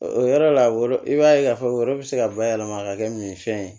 O yɔrɔ la i b'a ye k'a fɔ yɔrɔ bɛ se ka bayɛlɛma ka kɛ min ye fɛn ye